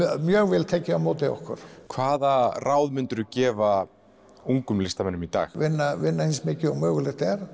mjög vel tekið á móti okkur hvaða ráð myndirðu gefa ungum listamönnum í dag vinna vinna eins mikið og mögulegt er